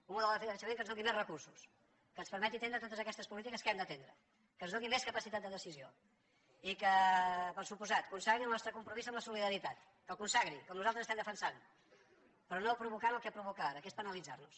un model de finançament que ens doni més recursos que ens permeti atendre totes aquestes polítiques que hem d’atendre que ens doni més capacitat de decisió i que per descomptat consagri el nostre compromís amb la solidaritat que el consagri com nosaltres estem defensant però no provocant el que provoca ara que és penalitzar nos